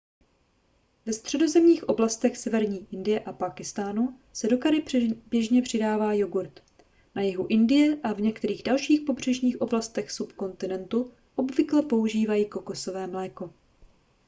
ve středozemních oblastech severní indie a pákistánu se do curry běžně přidává jogurt na jihu indie a v některých dalších pobřežních oblastech subkontinentu obvykle používají kokosové mléko